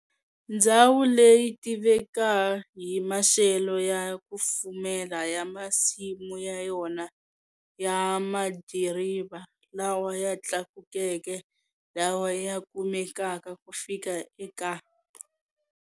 Ndzhawu leyi yitiveka hi maxelo ya kufumela ya masimu ya yona ya madiriva lawa ya tlakukeke lawa ya kumekaka ku fika eka.